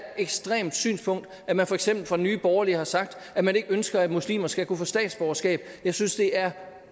ekstremt synspunkt når man for eksempel fra nye borgerlige har sagt at man ikke ønsker at muslimer skal kunne få statsborgerskab jeg synes det er